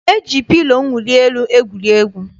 E ji pilo mwuli elu egwuri egwu.